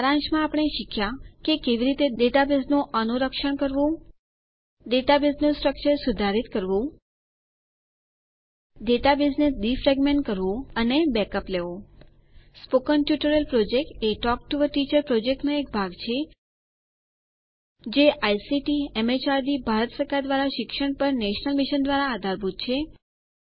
સારાંશમાં આપણે શીખ્યાં કે કેવી રીતે ડેટાબેઝનું અનુરક્ષણ કરવું ડેટાબેઝનું સ્ટ્રકચર સુધારીત કરવું ડેટાબેઝને ડીફ્રેગમેન્ટ કરવું અને બેકઅપ્સ લેવું spoken tutorial project a talk to a teacher પ્રોજેક્ટનો એક ભાગ છે જે આઇસીટી એમએચઆરડી ભારત સરકાર દ્વારા શિક્ષણ પર નેશનલ મિશન દ્વારા આધારભૂત છે